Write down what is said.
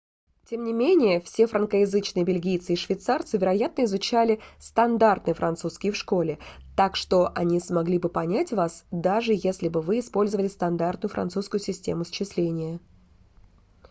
тем не менее все франкоязычные бельгийцы и швейцарцы вероятно изучали стандартный французский в школе так что они смогли бы понять вас даже если бы вы использовали стандартную французскую систему счисления